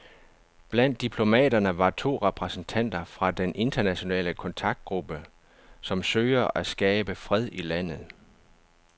Blandt diplomaterne var to repræsentanter fra den internationale kontaktgruppe, som søger at skabe fred i landet.